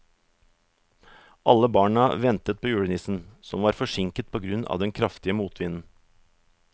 Alle barna ventet på julenissen, som var forsinket på grunn av den kraftige motvinden.